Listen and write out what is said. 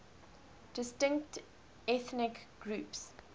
distinct ethnic groups